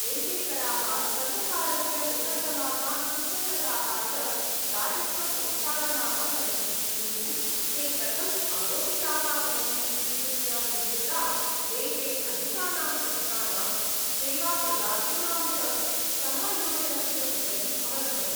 एते कराः सर्वकारस्य बृहत्तमाः सुसङ्गताः च राजस्वसंसाधनाः सन्ति, किन्तु ते कथम् आरोपिताः भवन्ति इत्यस्य विविधता, देशे अधिकानां संस्थानां, सेवाप्रदातॄणां च समायोजनस्य उपरि अवलम्बते।